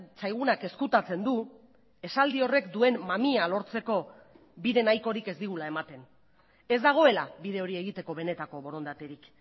zaigunak ezkutatzen du esaldi horrek duen mamia lortzeko bide nahikorik ez digula ematen ez dagoela bide hori egiteko benetako borondaterik